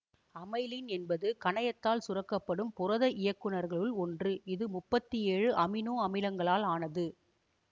amylin என்பது கணையத்தால் சுரக்க படும் புரத இயக்குநீர்களுள் ஒன்று இது முப்பத்தி ஏழு அமினோ அமிலங்களால் ஆனது